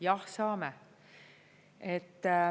Jah, saame.